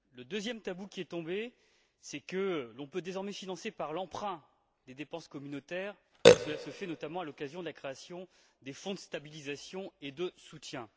Le deuxième tabou qui est tombé, c'est que l'on peut désormais financer, par l'emprunt, des dépenses communautaires, et cela se fait notamment à l'occasion de la création des fonds de stabilisation et de soutien.